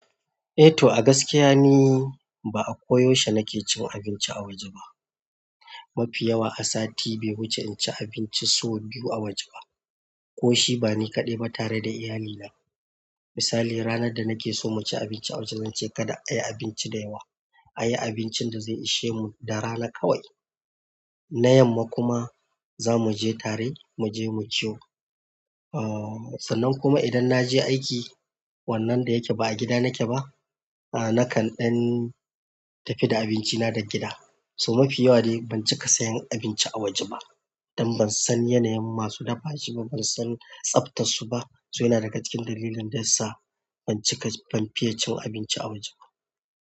Eh to a gaskiya ne, ba a koyaushe nake cin abinci a waje ba. Mafi yawa a sati bai wuce in ci abinci sau biyu a waje ba, ko shi ba ni kaɗai ba tare da iyalina. Misali, ranar da nake so mu ci abinci a waje, zan ce kada a yi abinci da yawa, a yi abincin da zai ishe mu darana ƙawai. Na yamma kuma za mu je tare, mu je mu ci. Uh, sannan kuma idan na je aiki, wannan da yake ba a gida nake ba, a nakan dan tafi da abinci na daga gida. To mafi yawa dai ban cika sayan abinci a waje ba, dan ban san yanayin masu dafa shi ba, ban san tsabta su ba. Su yana daga cikin dalilin da ya sa ban cika, ban fiye cin abinci a waje ba.